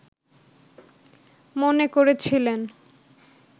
মনে করেছিলেন